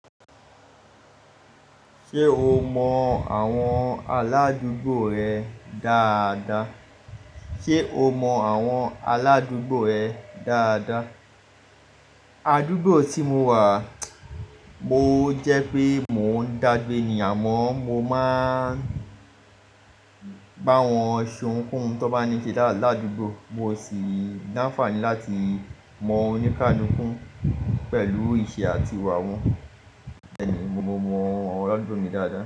Ṣé o mọ àwọn aládúgbò rẹ dáadáa? Sé o mọ àwọn aládúgbò rẹ dáadáa? Aládúgbò tí mo wà, mo jẹ́ pé mò ń dàgbé ni àmọ́ mo máa ń bá wọn ṣe ohunkohun tó bá ní ṣẹ̀ ládùúgbò. Mo sì ni áńfàní láti mọ̀ onikaluku pẹ̀lú ìṣe àti ìwà wọn. Bẹ́ẹ̀ni, mo mọ àwọn aládùúgbò mi dáadáa.